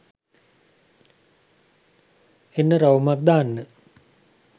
එන්න රවුමක් දාන්න